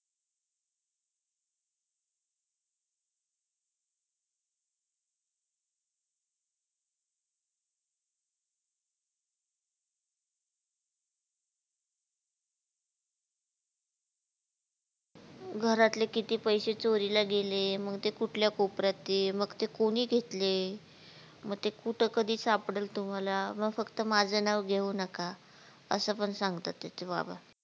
घरातील किती पैसे चोरीला गेले मग ते कुठल्या कोपर्यात हे मग ते कोणी घेतले म ते कुठ कधी सापळलं तुम्हाला म फक्त माझ नाव घेवू नका असं पण सांगता त्याच बाबा.